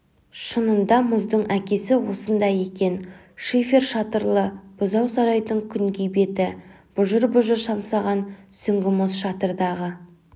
шынында мұздың әкесі осында екен шифер шатырлы бұзау сарайдың күнгей беті бұжыр-бұжыр самсаған сүңгі мұз шатырдағы